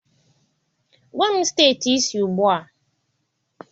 Gwa m steeti ị si ugbu a.